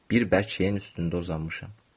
Bir bərk şeyin üstündə uzanmışam.